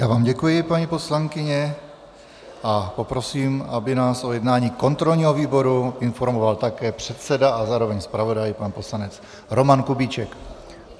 Já vám děkuji, paní poslankyně, a poprosím, aby nás o jednání kontrolního výboru informoval také předseda a zároveň zpravodaj pan poslanec Roman Kubíček.